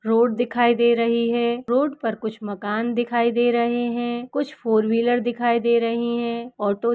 Road दिखाई दे रही है रोड़ पर कुछ मकान दिखाई दे रहे हैं। कुछ फोर व्हीलर दिखाई दे रहे हैं। ऑटो --